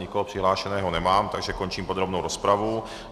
Nikoho přihlášeného nemám, takže končím podrobnou rozpravu.